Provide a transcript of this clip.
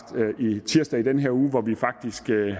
tirsdag i den her uge hvor vi faktisk havde